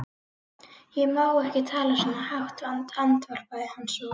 Ég má ekki tala svona hátt, andvarpaði hann svo.